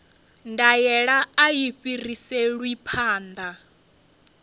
ndaela a i fhiriselwi phanḓa